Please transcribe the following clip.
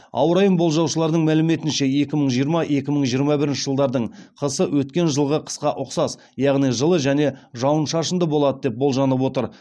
ауа райын болжаушылардың мәліметінше екі мың жиырма екі мың жиырма бірінші жылдардың қысы өткен жылғы қысқа ұқсас яғни жылы және жауын шашынды болады деп болжанып отыр